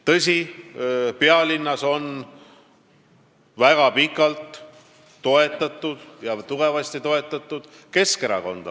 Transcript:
Tõsi, pealinnas on hästi pikalt ja tugevasti toetatud Keskerakonda.